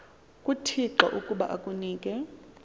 kuthixo ukuba akunike